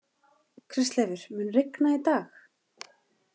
Kristleifur, mun rigna í dag?